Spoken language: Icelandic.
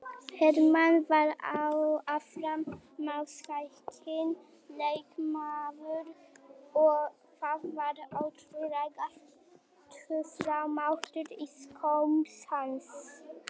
Hermann var afar marksækinn leikmaður og það var ótrúlegur töframáttur í skóm hans.